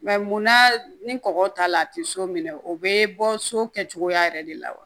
mun na ni kɔgɔ t'a la a tɛ so minɛ o bɛ bɔ so kɛcogoya yɛrɛ de la wa